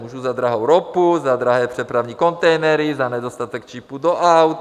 Můžu za drahou ropu, za drahé přepravní kontejnery, za nedostatek čipů do aut.